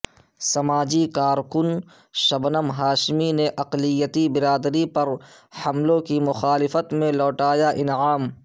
سماجی کارکن شبنم ہاشمی نے اقلیتی برادری پر حملوں کی مخالفت میں لوٹایا انعام